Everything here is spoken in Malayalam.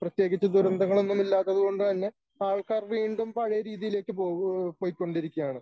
പ്രത്യേകിച്ച് ദുരന്തങ്ങളൊന്നും ഇല്ലാത്തതുകൊണ്ട് തന്നെ ആൾക്കാർ വീണ്ടും പഴയ രീതിയിലേക്ക് പോവൂ പോയിക്കൊണ്ടിരിക്കുകയാണ്